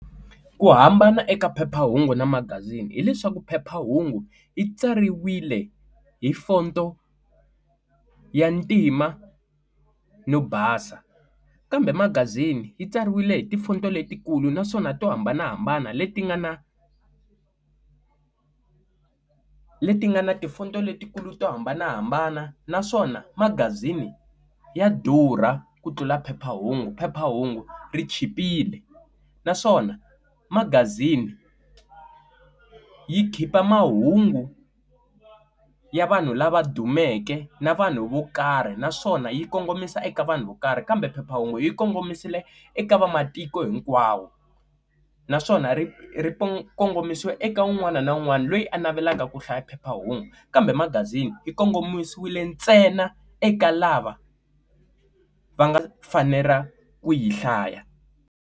Ku hambana eka phephahungu na magazini hileswaku phephahungu yi tsariwile hi fonto ya ntima no basa kambe magazini yi tsariwile hi ti fonto letikulu naswona to hambanahambana leti nga na leti nga na tifonto letikulu to hambanahambana naswona magazini ya durha ku tlula phephahungu phephahungu ri chipile naswona magazini yi khipha mahungu ya vanhu lava dumeke na vanhu vo karhi na swona yi kongomisa eka vanhu vo karhi kambe phephahungu yi kongomisiwile eka vamatiko hinkwawo naswona ri ri kongomisiwa eka un'wana na un'wana loyi a navelaka ku hlaya phephahungu kambe magazini yi kongomisiwile ntsena eka lava va nga fanela ku yi hlaya.